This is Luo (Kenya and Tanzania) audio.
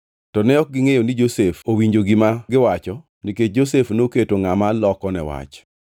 Reuben nodwokogi niya, “Donge ne akwerou ni kik utimne rawerano marach? To ne ok unyal winja! Koro nyaka chulnwa kuor nikech rembe.”